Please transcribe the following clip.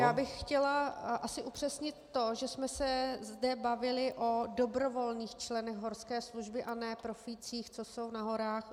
Já bych chtěla asi upřesnit to, že jsme se zde bavili o dobrovolných členech horské služby a ne profících, co jsou na horách.